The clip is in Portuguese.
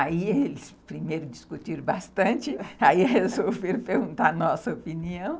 Aí eles primeiro discutiram bastante, aí resolveram perguntar a nossa opinião.